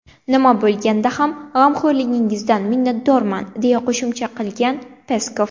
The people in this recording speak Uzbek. Nima bo‘lganda ham, g‘amxo‘rligingizdan minnatdorman”, deya qo‘shimcha qilgan Peskov.